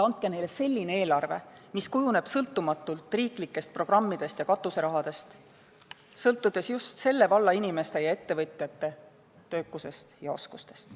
Andke neile selline eelarve, mille kujunemine ei sõltuks riiklikest programmidest ja katuserahast, vaid just selle valla inimeste ja ettevõtjate töökusest ja oskustest.